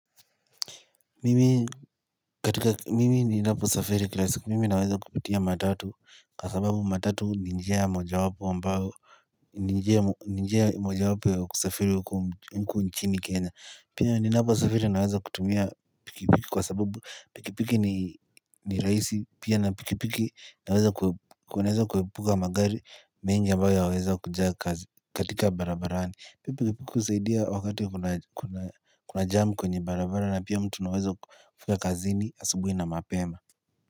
Mimi katika mimi ninapo safiri kila siku mimi naweza kupitia matatu kwa sababu matatu ni njia moja wapo mbao ni njia moja wapo ya kusafiri mku nchini kenya pia ni napo safiri naweza kutumia pikipiki kwa sababu pikipiki ni raisi pia na pikipiki naweza kuwepuka magari mengi mbao yaweza kujaa katika barabarani pepe kipiku usaidia wakati kuna jam kwenye barabara na pia mtu naweza kufika kazini asubui na mapema.